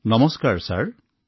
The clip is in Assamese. নমস্কাৰ মহোদয়